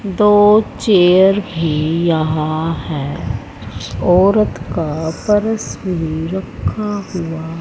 दो चेयर भी यहां है औरत का पर्स भी रखा हुआ--